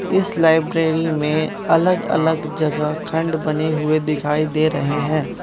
इस लाइब्रेरी में अलग अलग जगह खंड बने हुए दिखाई दे रहे हैं।